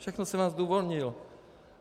Všechno jsem vám zdůvodnil.